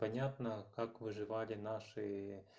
понятно как выживали наши